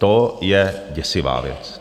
To je děsivá věc.